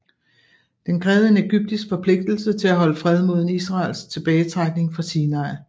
Den krævede en ægyptisk forpligtelse til at holde fred mod en israelsk tilbagetrækning fra Sinai